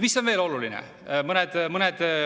Mis on veel oluline?